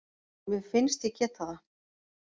Mér finnst ég geta það